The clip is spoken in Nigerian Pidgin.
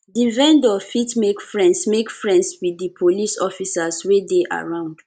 di vendor fit make friends make friends with di police officers wey dey around